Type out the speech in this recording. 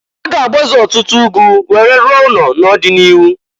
A ga-agbaze ọtụtụ were rụọ ụnọ n'ọdị n'iru.